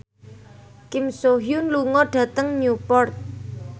Kim So Hyun lunga dhateng Newport